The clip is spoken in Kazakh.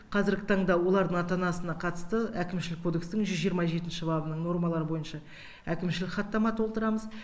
қазіргі таңда олардың ата анасына қатысты әкімшілік кодекстің жүз жиырма жетінші бабының нормалары бойынша әкімшілік хаттама толтырамыз